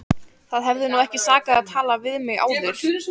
Það hefði nú ekki sakað að tala við mig áður!